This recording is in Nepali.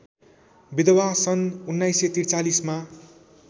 विधवा सन् १९४३ मा